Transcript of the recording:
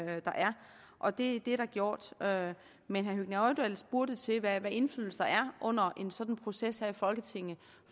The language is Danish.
og det har vi gjort men herre høgni hoydal spurgte til hvad indflydelse der er under en sådan proces her i folketinget